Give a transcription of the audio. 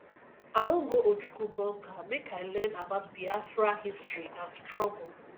i wan go ojukwu bunker make i learn about biafra history and struggle